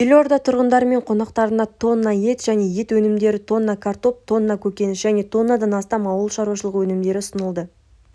елорда тұрғындары мен қонақтарына тонна ет және ет өнімдері тонна картоп тонна көкөніс және тоннадан астам ауыл шаруашылық өнімдері ұсынылады